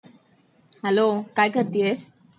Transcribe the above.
Hello, काय करतीयस?